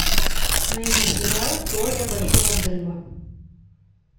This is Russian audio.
найди сериал теория большого взрыва